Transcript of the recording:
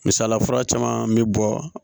Misalila fura caman bɛ bɔ